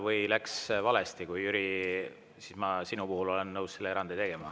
Või kui läks valesti, Jüri, siis ma sinu puhul olen nõus erandi tegema.